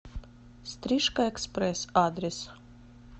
стрижка экспресс адрес